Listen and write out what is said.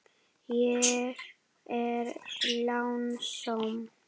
Ég er lánsöm.